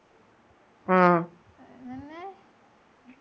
ആഹ്